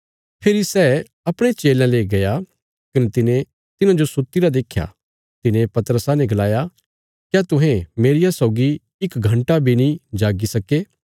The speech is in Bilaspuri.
फेरी सै अपणे चेलयां ले गया कने तिने तिन्हाजो सुत्तीरा देख्या तिने पतरसा ने गलाया क्या तुहें मेरिया सौगी इक घण्टा बी नीं जाग्गी सक्के